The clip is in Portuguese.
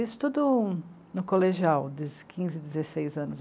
Isso tudo no colegial, desde quinze, dezesseis anos.